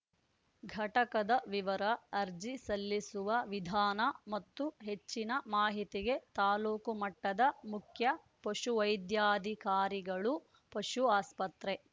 ಘಟಕದ ವಿವರ ಅರ್ಜಿ ಸಲ್ಲಿಸುವ ವಿಧಾನ ಮತ್ತು ಹೆಚ್ಚಿನ ಮಾಹಿತಿಗೆ ತಾಲೂಕು ಮಟ್ಟದ ಮುಖ್ಯ ಪಶುವೈದ್ಯಾಧಿಕಾರಿಗಳು ಪಶು ಆಸ್ಪತ್ರೆ